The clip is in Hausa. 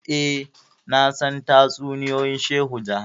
eh nasan tatsuniyoyin shehu jaha